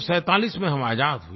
1947 में हम आज़ाद हुए